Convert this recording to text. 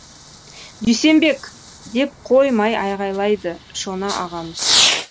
дүйсенбек деп қоймай айғайлайды шона ағамыз